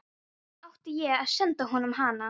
Gerður orkar það eitt að reyna að vinna sitt verk.